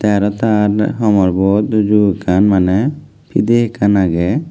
tay arow tar homorbot uju ekan manay piday ekan aagay.